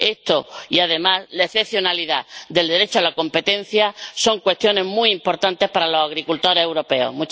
Esto y además la excepcionalidad del derecho a la competencia son cuestiones muy importantes para los agricultores europeos.